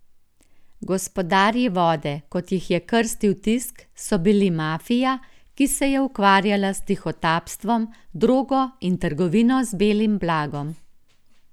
Gospodarji vode, kot jih je krstil tisk, so bili mafija, ki se je ukvarjala s tihotapstvom, drogo in trgovino z belim blagom.